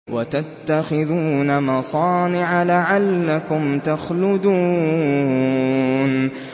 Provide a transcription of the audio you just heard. وَتَتَّخِذُونَ مَصَانِعَ لَعَلَّكُمْ تَخْلُدُونَ